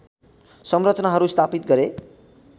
संरचनाहरू स्थापित गरे